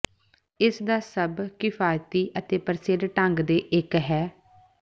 ਇਸ ਦਾ ਸਭ ਕਿਫ਼ਾਇਤੀ ਅਤੇ ਪ੍ਰਸਿੱਧ ਢੰਗ ਦੇ ਇੱਕ ਹੈ